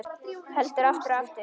Heldur aftur og aftur.